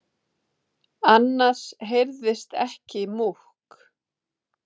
Annars heyrðist ekki múkk.